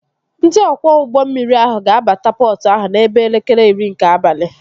Ndị ọkwọ ụgbọ mmiri ahụ ga-abata pọtụ ahụ n'ebe elekere iri nke abalị